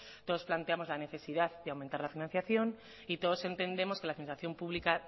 todos planteamos la necesidad de aumentar la financiación y todos entendemos que la pública